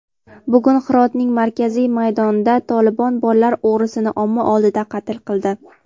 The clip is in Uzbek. Bugun Hirotning markaziy maydonida "Tolibon" bolalar o‘g‘risini omma oldida qatl qildi.